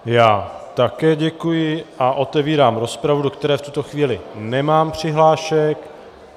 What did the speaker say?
Já také děkuji a otevírám rozpravu, do které v tuto chvíli nemám přihlášek.